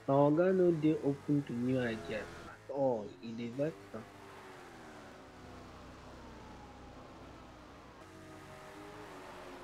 my oga no dey open to new ideas at all e dey vex am